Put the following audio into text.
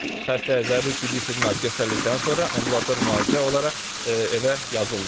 Xəstəyə zəruri tibbi xidmət göstərildikdən sonra ambulator müalicə olaraq evə yazıldı.